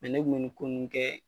ne b'u ni ko nn kɛɛ